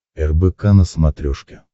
рбк на смотрешке